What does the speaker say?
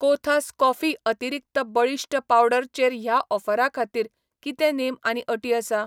कोथास कॉफी अतिरिक्त बळिश्ट पावडर चेर ह्या ऑफरा खातीर कितें नेम आनी अटी आसा ?